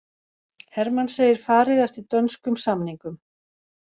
Hermann segir farið eftir dönskum samningum